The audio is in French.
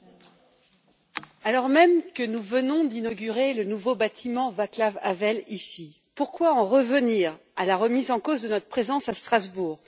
Monsieur le Président, alors même que nous venons d'inaugurer le nouveau bâtiment Václav Havel ici, pourquoi en revenir à la remise en cause de notre présence à Strasbourg?